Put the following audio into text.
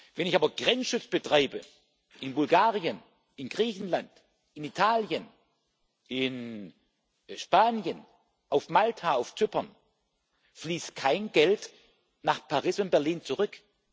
Wenn ich aber Grenzschutz betreibe in Bulgarien, in Griechenland, in Italien, in Spanien, auf Malta, auf Zypern, fließt kein Geld nach Paris und Berlin zurück.